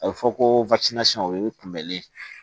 A bɛ fɔ ko o ye kunbɛli ye